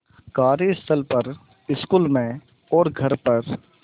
कार्यस्थल पर स्कूल में और घर पर